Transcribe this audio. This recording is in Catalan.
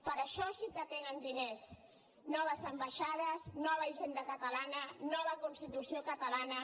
per a això sí que tenen diners noves ambaixades nova hisenda catalana nova constitució catalana